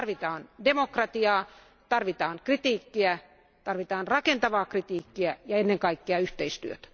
Tarvitaan demokratiaa, tarvitaan kritiikkiä, tarvitaan rakentavaa kritiikkiä ja ennen kaikkea yhteistyötä.